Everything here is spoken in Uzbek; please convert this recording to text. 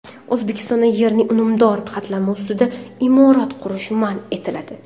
O‘zbekistonda yerning unumdor qatlami ustida imorat qurish man etiladi.